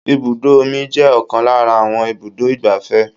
Ibùdó omi jẹ́ ọ̀kan lára àwọn ibùdó igbàfẹ́.